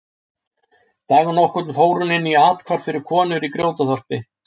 Dag nokkurn fór hún inn í athvarf fyrir konur í Grjótaþorpi.